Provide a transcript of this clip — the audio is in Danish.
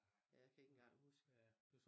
Jeg kan ikke engang huske